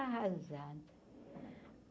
Arrasada.